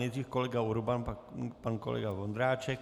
Nejdřív kolega Urban, pak pan kolega Vondráček.